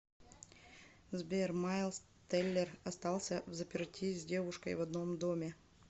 сбер майлз теллер остался взаперти с девушкой в одном доме